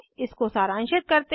इसको सारांशित करते हैं